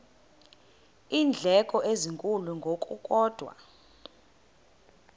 iindleko ezinkulu ngokukodwa